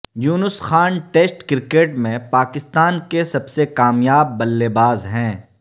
یونس Khan test cricket میں پاکستان کے سب سے کامیاب بلے باز ہیں